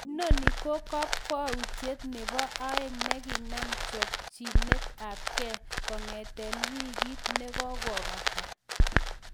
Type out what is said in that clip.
Inonon ko kokwoutiet nebo aeng nkinam chopchinet ab kee kong'eten wigit ne kogobata